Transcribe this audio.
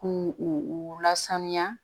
K'u u lasaniya